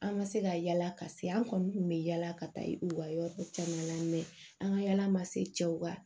An ma se ka yala ka se an kɔni kun bɛ yala ka taa u ka yɔrɔ caman la an ka yala ma sew ka